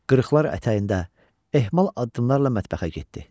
Qırıqlar ətəyində, ehmal addımlarla mətbəxə getdi.